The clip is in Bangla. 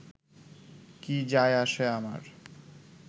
কী যায় আসে আমার